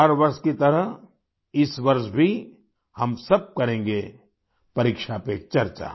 हर वर्ष की तरह इस वर्ष भी हम सब करेंगे परीक्षा पे चर्चा